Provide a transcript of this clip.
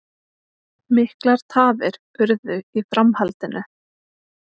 Miklar tafir urðu í framhaldinu